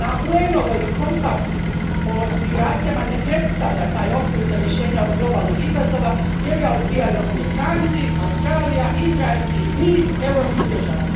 UN ov kompakt o migracijama ne predstavlja taj okvir za rješenje ovog globalnog izazova jer ga odbijaju Amerikanci, Australija, Izrael i niz europskih država.